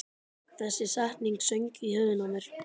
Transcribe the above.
Þessi setning söng í höfðinu á mér.